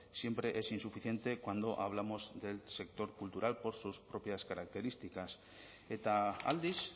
siempre es insuficiente cuando hablamos del sector cultural por sus propias características eta aldiz